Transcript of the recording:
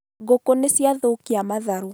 Ngũkũ nĩ ciathũkia matharũ